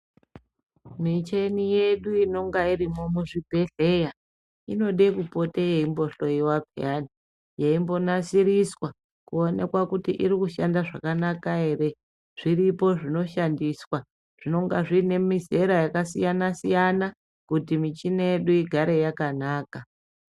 Micheni yedu inonga irimwo muzvibhedhleya inode kupote yeimbohloiwa peyani, yeimbo nasiriswa kuonekwa kuti irikushanda zvakanaka ere. Zviripo zvinoshandiswa zvinonga zviine mizera yakasiyana-siyana, kuti michina yedu igare yakanaka.